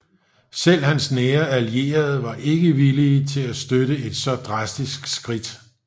Selv hans nære allierede var ikke villige til at støtte et så drastisk skridt